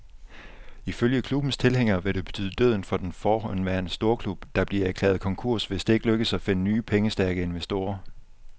Ifølge klubbens tilhængere vil det betyde døden for den forhenværende storklub, der bliver erklæret konkurs, hvis det ikke lykkes at finde nye, pengestærke investorer.